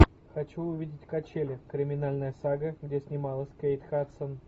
хочу увидеть качели криминальная сага где снималась кейт хадсон